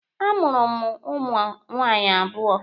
A mụrụ m ụmụ nwaanyị abụọ.